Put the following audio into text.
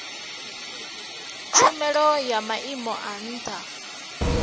tshumelo ya maimo a ntha